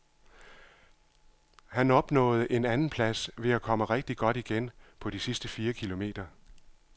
Han opnåede an anden plads ved at komme rigtigt godt igen på de sidste fire kilometer.